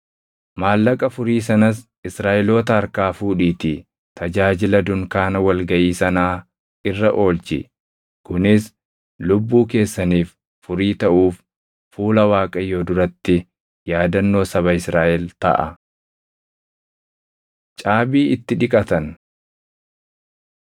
Maallaqa furii sanas Israaʼeloota harkaa fudhiitii tajaajila dunkaana wal gaʼii sanaa irra oolchi; kunis lubbuu keessaniif furii taʼuuf fuula Waaqayyoo duratti yaadannoo saba Israaʼel taʼa.” Caabii Itti Dhiqatan